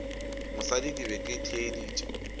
mosadi ke be ke theeditše